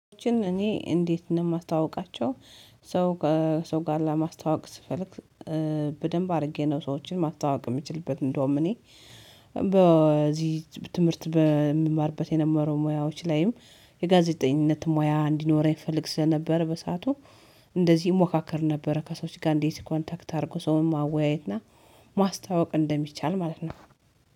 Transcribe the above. ሰዎችን እኔ እንዴት ነው የማስተዋውቃቸው? ሰው ከሰው ጋር ለማስተዋወቅ ስፈልግ። በደንብ አድርጌ ነው ሰዎችን ማስተዋወቅ የምችልበት እንደውም እኔ በዚህ ትምህርት በምማርበት የነበረው ሙያዎች ላይም የጋዜጠኝነት ሙያ እንዲኖረኝ እፈልግ ስለነበረ በሰአቱ እንደዚህ እሞካከር ነበረ። ከሰዎች ጋር እንዴት ኮንታክት አድርጎ ሰውን ማወያየትና ማስተዋወቅ እንደሚቻል ማለት ነው